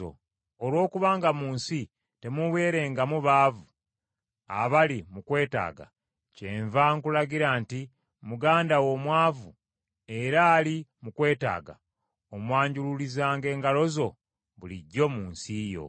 Olwokubanga mu nsi temuubulengamu baavu abali mu kwetaaga, kyenva nkulagira nti muganda wo omwavu era ali mu kwetaaga omwanjululizanga engalo zo bulijjo mu nsi yo.